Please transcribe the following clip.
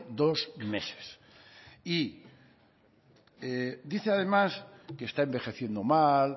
dos meses y dice además que está envejeciendo mal